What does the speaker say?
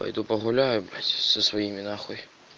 пойду погуляю со своими нахуй